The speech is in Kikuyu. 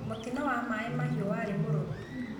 Mũtino wa Mai Mahiu warĩ mũrũrũ.